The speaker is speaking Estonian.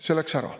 See läks ära.